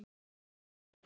Ef þú hefðir hann ekki.